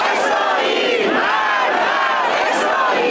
Allahu Əkbər! İsrail!